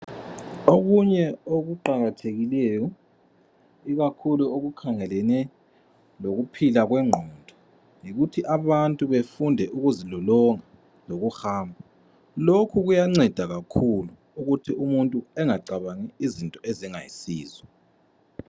Okunye okuqakathekileyo ikakhulu okukhangelene lokuphila kwengqondo yikuthi abantu befunde ukuzilolonga lokuhamba. Lokhu kuyanceda kakhulu ukuthi umuntu engacabangi izinto ezingayisizo.